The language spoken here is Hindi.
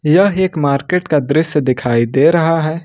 यह एक मार्केट का दृश्य दिखाई दे रहा है।